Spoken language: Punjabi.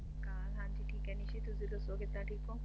ਠੀਕ ਆ ਨਿਸ਼ੀ ਤੁਸੀ ਦੱਸੋ ਕਿਦਾਂ ਠੀਕ ਹੋ